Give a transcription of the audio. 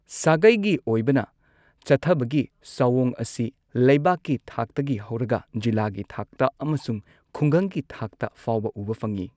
ꯁꯥꯒꯩꯒꯤ ꯑꯣꯏꯕꯅ ꯆꯠꯊꯕꯒꯤ ꯁꯛꯑꯣꯡ ꯑꯁꯤ ꯂꯩꯕꯥꯛꯀꯤ ꯊꯥꯛꯇꯒꯤ ꯍꯧꯔꯒ ꯖꯤꯂꯥꯒꯤ ꯊꯥꯛꯇ ꯑꯃꯁꯨꯡ ꯈꯨꯡꯒꯪꯒꯤ ꯊꯥꯛꯇ ꯐꯥꯎꯕ ꯎꯕ ꯐꯪꯏ꯫